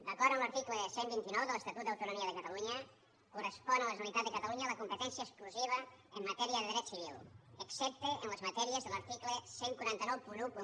d’acord amb l’article cent i vint nou de l’estatut d’autonomia de catalunya correspon a la generalitat de catalunya la competència exclusiva en matèria de dret civil excepte en les matèries de l’article catorze noranta u